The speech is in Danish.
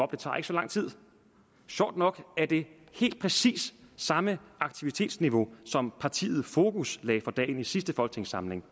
det tager ikke så lang tid sjovt nok er det helt præcis samme aktivitetsniveau som partiet fokus lagde for dagen i sidste folketingssamling